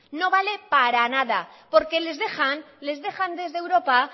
no vale para nada porque les dejan les dejan desde europa